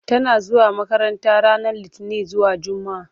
Tana zuwa makranta ranar Litini zuwa Jumaa.